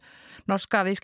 norska